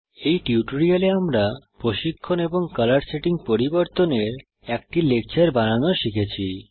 এই টিউটোরিয়ালে আমরা প্রশিক্ষণ এবং কলর সেটিং পরিবর্তনের একটি লেকচর বানানো শিখেছি